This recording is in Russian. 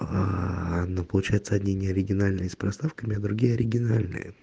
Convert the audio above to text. аа ну получается одни не оригинальные с проставками а другие оригинальные